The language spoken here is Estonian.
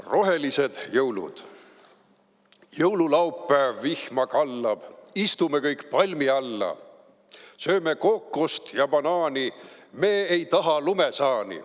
"Rohelised jõulud" Jõululaupäev, vihma kallab, istume kõik palmi alla, sööme kookost ja banaani, me ei taha lumesaani.